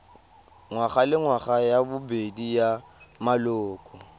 ngwagalengwaga ya bobedi ya maloko